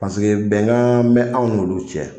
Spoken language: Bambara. Paseke bɛnkan bɛ aw n'olu cɛ.